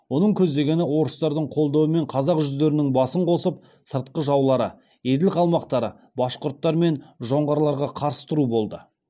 оның көздегені орыстардың қолдауымен қазақ жүздерінін басын қосып сыртқы жаулары еділ қалмақтары башқұрттар мен жоңғарларға қарсы тұру болды